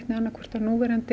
annaðhvort á núverandi